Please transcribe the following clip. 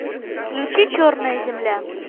включи черная земля